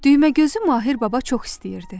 Düyməgözü Mahir Baba çox istəyirdi.